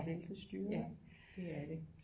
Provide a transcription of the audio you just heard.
Ja ja det er det